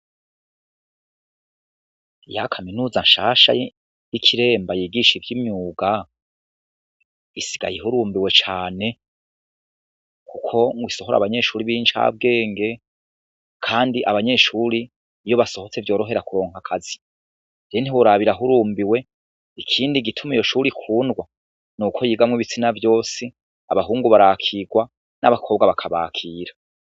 Ya kaminuza nshasha y'ikiremba yigisha ivyimyuga isigaye ihurumbiwe cane, kuko isohora abanyeshure bincabwenge, kandi abanyeshure iyo basohotse vyorohera kuronka akazi, ntiworaba irahurumbiwe ikindi gituma iyo shure ikundwa n'uko yigamwo ibitsina vyose abahungu barakigwa n'abakobwa bakabakira.